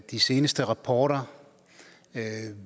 de seneste rapporter